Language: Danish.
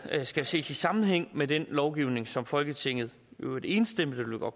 skal ses i sammenhæng med den lovgivning som folketinget i øvrigt enstemmigt og